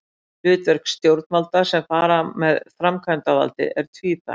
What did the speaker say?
Hlutverk stjórnvalda sem fara með framkvæmdavaldið er tvíþætt.